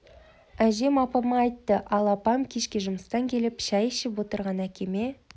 әжем апама айтты ал апам кешке жүмыстан келіп шай ішіп отырған әкеме